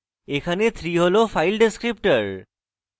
এখানে 3 হল file descriptor